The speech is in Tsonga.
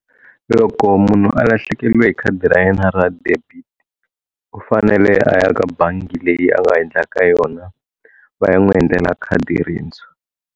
Loko munhu a lahlekeliwe hi khadi ra yena ra debit u fanele a ya ka bangi leyi a nga endla ka yona va ya n'wi endlela khadi rintswha.